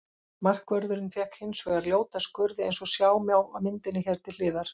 Markvörðurinn fékk hins vegar ljóta skurði eins og sjá má á myndinni hér til hliðar.